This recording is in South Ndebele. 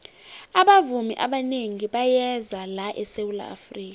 abavumi abanengi bayeza la esawula afrika